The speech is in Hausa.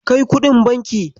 Kai kuɗin banki.